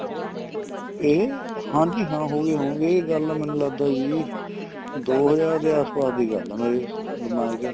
ਇਹ ਹਾਂਜੀ ਹਾਂ ਹੋ ਗਏ ਹੋਣਗੇ ਇਹ ਗੱਲ ਮੈਨੂੰ ਲਗਦਾ ਜੀ ਦੋ ਹਜਾਰ ਦੇ ਆਸ ਪਾਸ ਦੀ ਗੱਲ ਏ ਮੇਰੇ ਦਿਮਾਗ ਚ